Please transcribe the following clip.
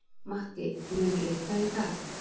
Matti, mun rigna í dag?